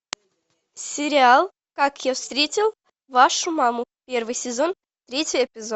сериал как я встретил вашу маму первый сезон третий эпизод